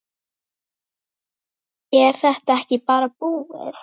Er þetta ekki bara búið?